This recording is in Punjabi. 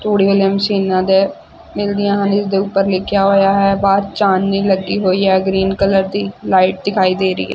ਤੂੜੀਆਂ ਆਲੀਆਂ ਮਸ਼ੀਨਾਂ ਦੇ ਮਿਲਦੀਆਂ ਹਨ ਇਸਦੇ ਉੱਪਰ ਲਿਖਿਆ ਹੋਇਆ ਹੈ ਬਾਹਰ ਚਾਨਨੀ ਲੱਗੀ ਹੋਈ ਹੈ ਗਰੀਨ ਕਲਰ ਦੀ ਲਾਈਟ ਦਿਖਾਈ ਦੇ ਰਹੀ ਹੈ।